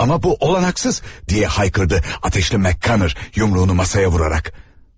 Amma bu olanaksız deyə haykırdı atəşli McConnora yumruğunu masaya vuraraq.